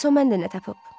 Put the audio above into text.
Bəs o məndə nə tapıb?